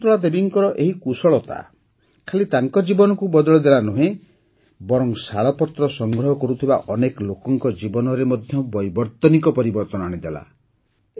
ଶକୁନ୍ତଳା ଦେବୀଙ୍କର ଏହି କୁଶଳତା ଖାଲି ତାଙ୍କ ଜୀବନକୁ ବଦଳେଇଦେଲା ସେତିକି ନୁହେଁ ବରଂ ଶାଳପତ୍ର ସଂଗ୍ରହ କରୁଥିବା ଅନେକ ଲୋକଙ୍କ ଜୀବନରେ ମଧ୍ୟ ବୈବର୍ତ୍ତନିକ ପରିବର୍ତ୍ତନ ଆଣିଦେଲା